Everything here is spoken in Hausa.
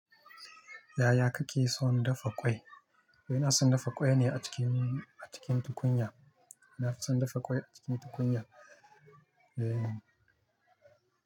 Yaya kake son dafa ƙwai? Ina son dafa ƙwai ne a cikin, a cikin tukunya. Nafi son dafa ƙwai a cikin tukunya. Eh.